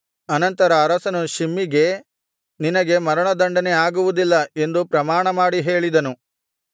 ಅನಂತರ ಅರಸನು ಶಿಮ್ಮಿಗೆ ನಿನಗೆ ಮರಣದಂಡನೆ ಆಗುವುದಿಲ್ಲ ಎಂದು ಪ್ರಮಾಣಮಾಡಿ ಹೇಳಿದನು